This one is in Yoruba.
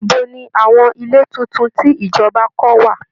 Ibo ni àwọn ilé tuntun tí ìjọba kọ́ wà?